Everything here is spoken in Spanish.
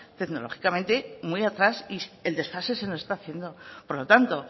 tecnológicamente muy atrás y el desfase se nos está haciendo por lo tanto